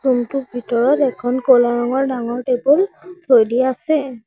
Room টোৰ ভিতৰত এখন ক'লা ৰঙৰ ডাঙৰ টেবুল থৈ দিয়া আছে।